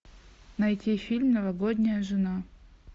найти фильм новогодняя жена